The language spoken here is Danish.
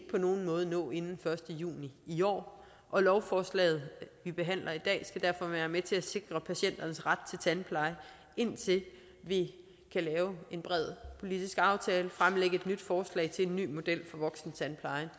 på nogen måde nå inden første juni i år og lovforslaget vi behandler i dag skal derfor være med til at sikre patienternes ret til tandpleje indtil vi kan lave en bred politisk aftale fremlægge et nyt forslag til en ny model for voksentandplejen